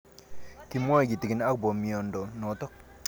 Kimwae kitig'in akopo miondo notok